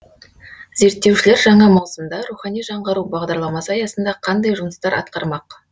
зерттеушілер жаңа маусымда рухани жаңғыру бағдарламасы аясында қандай жұмыстар атқармақ